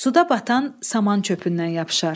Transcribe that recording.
Suda batan samancöpündən yapışar.